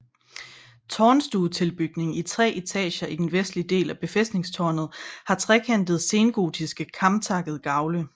Tårnstuetilbygningen i tre etager i den vestlige del af befæstningstårnet har trekantede sengotiske kamtakkede gavle